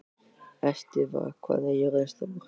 Estiva, hvað er jörðin stór?